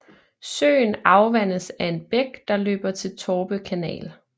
Søen afvandes af en bæk der løber til Torpe Kanal